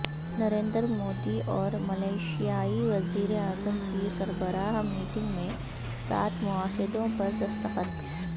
نریندر مودی اور ملائیشیائی وزیر اعظم کی سربراہ میٹنگ میں سات معاہدوں پر دستخط